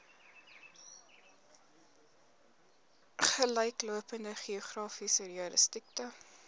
gelyklopende geografiese jurisdiksie